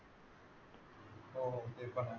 होय होय